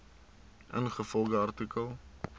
ingevolge artikel